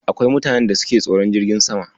Akwai mutanen da suke tsoron jirgin sama.